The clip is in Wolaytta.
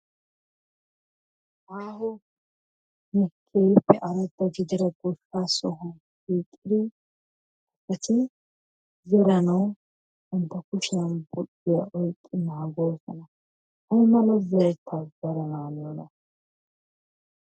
Aaho keehiippe arada gidida goshshaa sohuwaan bettidi eti zeranawu bantta kushshiyaan xikkiya oyqqidi naagoosona. Aymala zeretaa zerana niyoonaa?